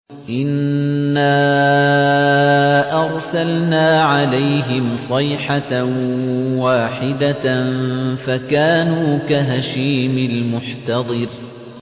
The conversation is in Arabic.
إِنَّا أَرْسَلْنَا عَلَيْهِمْ صَيْحَةً وَاحِدَةً فَكَانُوا كَهَشِيمِ الْمُحْتَظِرِ